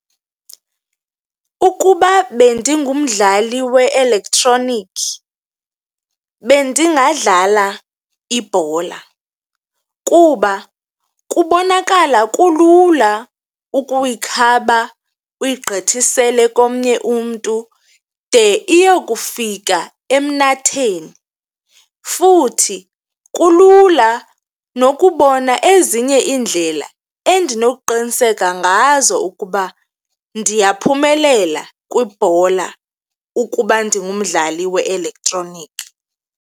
Ukuba bendingumdlali we-elektroniki bendingadlala ibhola kuba kubonakala kulula ukuyikhaba uyigqithisele komnye umntu de iyokufika emnatheni. Futhi kulula nokubona ezinye iindlela endinoqiniseka ngazo ukuba ndiyaphumelela kwibhola ukuba ndingumdlali we-elektroniki.